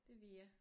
Det Via